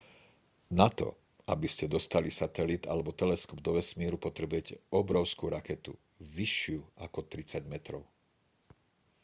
na to aby ste dostali satelit alebo teleskop do vesmíru potrebujete obrovskú raketu vyššiu ako 30 metrov